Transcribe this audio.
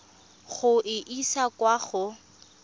go e isa kwa go